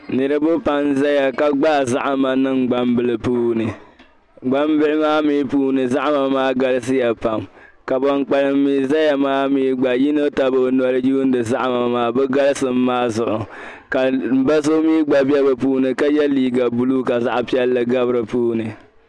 Niriba pam n-zaya ka ɡbaai zahima niŋ ɡbambila puuni ɡbambila maa mi puuni zahima maa ɡalisiya pam ka ban kpalim mi zaya maa mi ɡba yino tabi o noli yuuni zahima maa bɛ ɡalisim maa zuɣu ka m ba so mi ɡba be bɛ puuni ka ye liiɡa buluu ka zaɣ' piɛlli ɡabi di puuni